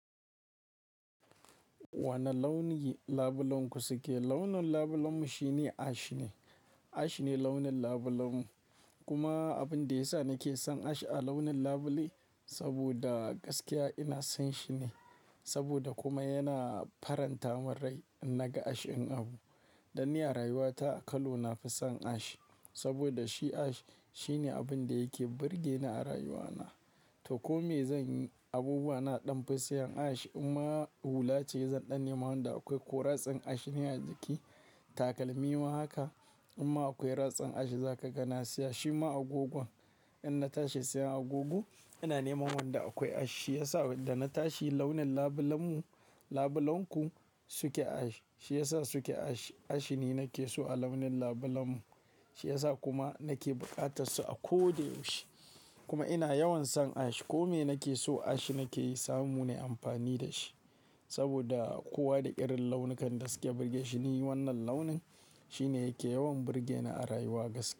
Wane launi ne labulanku? Launin labulenmu shine ash ne. Ash ne launin labulenmu. Kuma abin da ya sa nake son ash a launin labule saboda gaskiya ina son shi ne. Saboda kuma yana faranta mun rai idan naga ash ɗin abu. Danni a rayuwata a colour nafi son ash. Saboda shi ash shine abin da yake burge ni a rayuwata. To komai zan yi, abubuwan naɗan fison ash imma hulace zan ɗan nema wanda akwai ko ratsin ash ne a jiki. Takalmi ma haka. Imma akwai ratsin ash za ka ga na siya. Shi ma agogon, in na tashi siyan agogo ina nema wanda akwai ash. Shi ya sa da na tashi launin labulenmu, labulenku suke ash. Shiyasa suke ash. Ash ni nake so a launin labulenmu. Shiyasa kuma nake buƙatar su a ko da yaushe. Kuma ina yawan son ash. Komai nake so ash nake samu na yi amfani da shi. Saboda kowa da irin launukan da suke burge shi ni wannan launin. Shi ne yake yawan burge ni a rayuwa gaskiya.